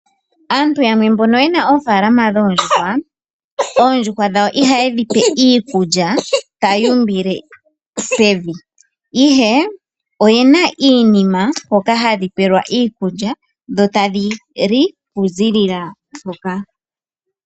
Aantu yamwe mbono yena oofalama dhondjuhwa. Oondjuhwa dhawo iha ye dhipe iikulya tayuumbile pevi, ihe oyena iinima hoka hadhipelwa iikulya, yo tadhili okuziilila hoka.